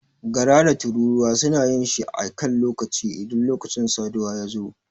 Gara da tururuwa suna yin shi a kan lokaci idan lokacin saduwa ya zo.